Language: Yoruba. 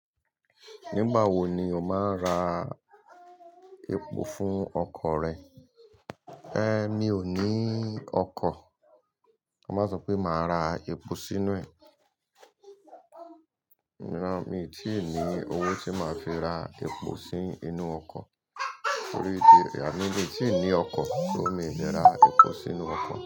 Nígbà wo ni o máa ra epo fún ọkọ̀ rẹ? Ẹ̀, mi ò ní ọkọ̀, mo máa sọ pé máa ra epo sínú ẹ̀. Rárá, mi ò tí ì ní owó tí màá fi ra epo sí inú ọkọ̀. Torí di, àmi lè tí ì ní ọkọ̀ tó ì lè ra epo sínú ọkọ̀